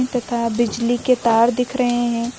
तथा बिजली के तार दिख रहे हैं।